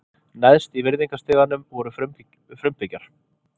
Neðst í virðingastiganum voru frumbyggjar.